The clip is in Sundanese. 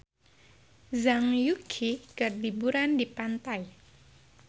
Zhang Yuqi keur liburan di pantai